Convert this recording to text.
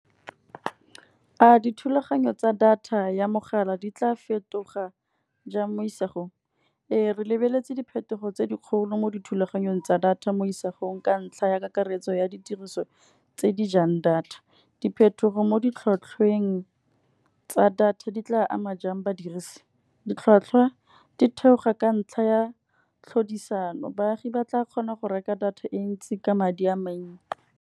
A dithulaganyo tsa data ya mogala di tla fetoga jang mo isagong. Ee re lebeletse diphetogo tse dikgolo mo dithulaganyong tsa data mo isagong, ka ntlha ya kakaretso ya ditiriso tse di jang data. Diphetogo mo di tlhwatlhweng tsa data di tla ama jang badirisi, ditlhwatlhwa di theoga ka ntlha ya tlhodisano. Baagi ba tla kgona go reka data e ntsi ka madi a mannye.